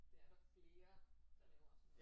Det er der flere der laver sådan noget